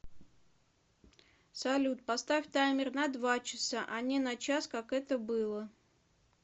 салют поставь таймер на два часа а не на час как это было